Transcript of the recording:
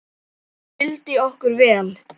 Hún vildi okkur vel.